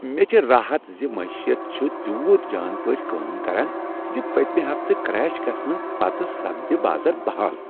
مےٚ چھُ راحت ز معیشت چھُ تیوت جان پٲٹھۍ کٲم کران زِ پٔتمہ ہفتہٕ کریش گژھنہٕ پتہٕ سپدِ بازر بحال۔